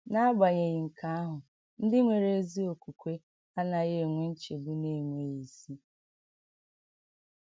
N’agbànyèghì nke ahụ, ndị nwere ezi okwùkwè anaghị enwe nchegbu na-enweghị isi.